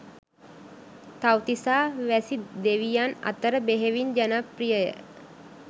තව්තිසා වැසි දෙවියන් අතර බෙහෙවින් ජනප්‍රිය ය